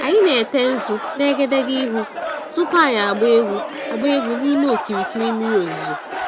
Anyị na-ete nzu n'egedege ihu tupu anyị agbaa egwu agbaa egwu n'ime okirikiri mmiri ozuzo.